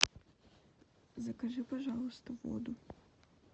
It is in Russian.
закажи пожалуйста воду